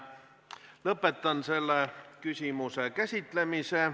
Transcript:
Lõpetan selle küsimuse käsitlemise.